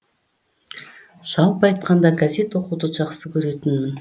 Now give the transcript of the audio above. жалпы айтқанда газет оқуды жақсы көретінмін